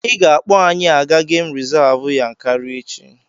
I ga-akpọ anyị aga gemụ rizavụ Yankari echi!